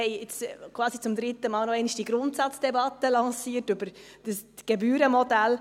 Wir haben jetzt quasi zum dritten Mal noch einmal diese Grundsatzdebatte lanciert über das Gebührenmodell.